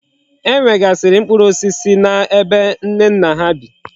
E nwegasiri mkpuru osisi na ebe Nnenna ha bi